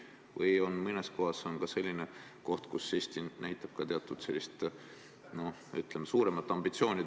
Või on mõned sätted ka sellised, millega Eesti näitab suuremaid ambitsioone?